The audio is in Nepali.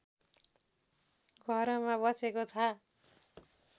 घरमा बसेको छ